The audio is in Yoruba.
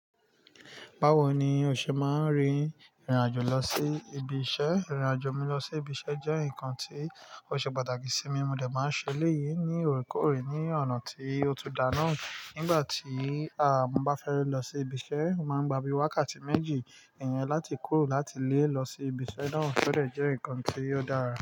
Báwo ni o ṣe máa n rìn ìrìnàjò lọ sí ibi iṣẹ́? Ìrìnàjò mi lọ sibi iṣẹ́ jẹ́ nǹkan tí ó ṣe pàtàkì sí mi, mo dẹ̀ máa ń ṣeléyìí ní òkúòrè ní ọ̀nà tí ó tuda náà. Nígbà tí à mo bá fẹ́ lọ sibi iṣẹ́, o máa ń gba bíi wákàtí méjì iyen láti kúrò láti ilé lọ sí ibi iṣẹ́ náà, ó dẹ̀ jẹ́ nǹkan tí ó dára.